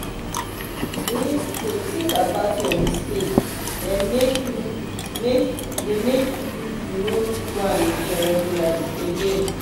dey tink about your mistake dem make you make you no do dem again.